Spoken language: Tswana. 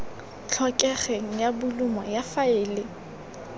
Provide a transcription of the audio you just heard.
tlhokegeng ya bolumo ya faele